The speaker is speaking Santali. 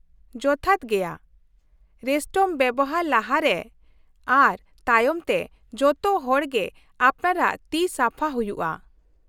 ᱡᱚᱛᱷᱟᱛ ᱜᱮᱭᱟ ᱾ ᱨᱮᱥᱴᱨᱩᱢ ᱵᱮᱣᱦᱟᱨ ᱞᱟᱦᱟ ᱨᱮ ᱟᱨ ᱛᱟᱭᱚᱢ ᱛᱮ, ᱡᱚᱛᱚ ᱦᱚᱲ ᱜᱮ ᱟᱯᱱᱟᱨᱟᱜ ᱛᱤ ᱥᱟᱯᱷᱟ ᱦᱩᱭᱩᱜᱼᱟ ᱾